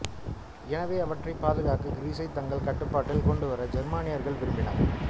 எனவே அவற்றைப் பாதுகாக்க கிரீசைத் தங்கள் கட்டுப்பாட்டில் கொண்டுவர ஜெர்மானியர்கள் விரும்பினர்